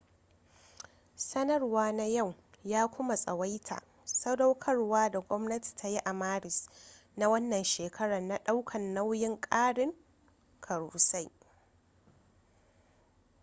sanarwa na yau ya kuma tsawaita sadaukarwa da gwamnati ta yi a maris na wannan shekara na daukan nayin karin karusai